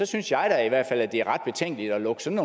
synes jeg da at det er ret betænkeligt at lukke sådan